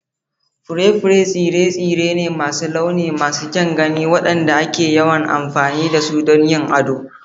Fure-fure tsire-tsire ne masu launi masu kyan gani waɗanda ake yawan amfani da su don yin ado.